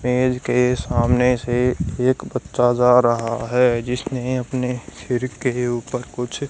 मेज के सामने से एक बच्चा जा रहा है जिसने अपने सिर के ऊपर कुछ--